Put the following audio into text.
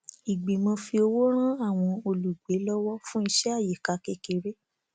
ìgbìmò fi owó rán àwọn olùgbé lọwọ fún iṣé àyíká kékeré